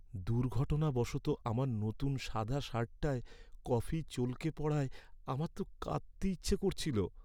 দুর্ঘটনাবশত আমার নতুন সাদা শার্টটায় কফি চলকে পড়ায় আমার তো কাঁদতে ইচ্ছে করছিল।